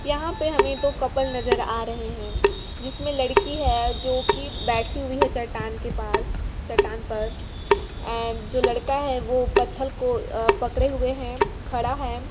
यहाँ पे हमे दो कपल नजर आ रहे है जिसमें लड़की है जो की बैठी हुई है चट्टान के पास चट्टान पर एंड जो लड़का है वो पत्थल को पकड़े हुए है खड़ा हैं।